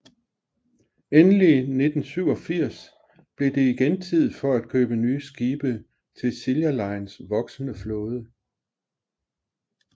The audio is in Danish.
Endelig 1987 blev det igen tid for at købe nye skibe til Silja Lines voksende flåde